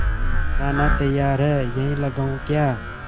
खाना तैयार है यहीं लगाऊँ क्या